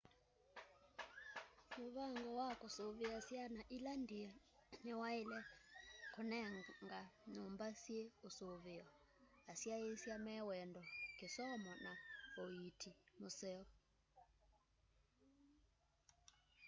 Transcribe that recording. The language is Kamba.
muvango wa kusuvia syana ila ndie ni waile kunengana nyumba syi usuveo asyaisya me wendo kisomo na uiiti wa museo